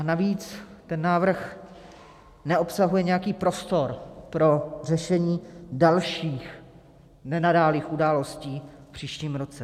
A navíc ten návrh neobsahuje nějaký prostor pro řešení dalších nenadálých událostí v příštím roce.